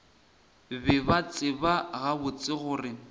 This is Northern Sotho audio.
be ba tseba gabotse gore